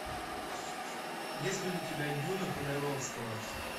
есть ли у тебя дюна ходоровского